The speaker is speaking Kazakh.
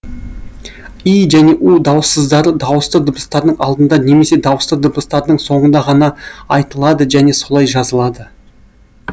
и және у дауыссыздары дауысты дыбыстардың алдында немесе дауысты дыбыстардың соңында ғана айтылады және солай жазылады